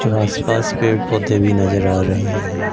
और आस पास पेड़ पौधे भी नजर आ रहे हैं।